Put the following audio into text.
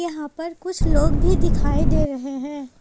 यहां पर कुछ लोग भी दिखाई दे रहे हैं।